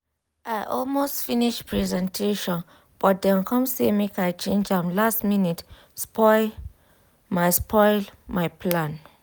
i almost finish presentation but dem come say make i change am last minute spoil my spoil my plan.